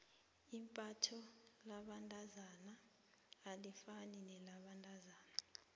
imbatho labentazana alifani nelabentazana